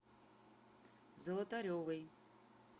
золотаревой